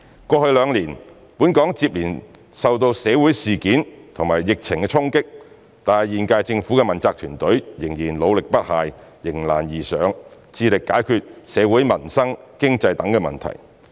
過去兩年，本港接連受社會事件及疫情衝擊，但現屆政府的問責團隊仍然努力不懈，迎難而上，致力解決社會、民生、經濟等問題。